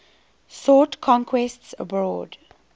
sought conquests abroad